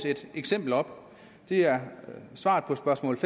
et eksempel op det er svaret på spørgsmål